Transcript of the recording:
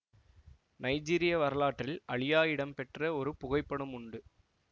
நைஜீரிய வரலாற்றில் அழியா இடம் பெற்ற ஒரு புகைப்படம் உண்டு